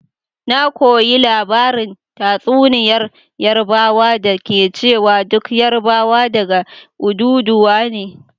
Na koyi labarin tatsuniyar Yarbawa da ke cewa duk Yarbawa daga Odùduwa ne.